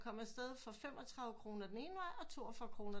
Kom afsted for 35 kroner den ene vej og 42 kroner